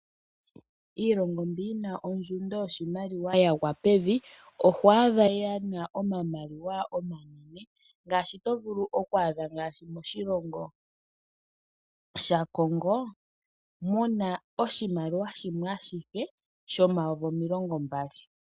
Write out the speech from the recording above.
Iilongo mbi yina ondjundo yoshimaliwa ya gwa pevi oho adha yena omamaliwa omanene ngaadgi to vulu oku adha ngaashi moshilongo sha Congo muna oshimaliwa shimwe ashike shomayovi omilongo mbali .